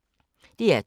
DR2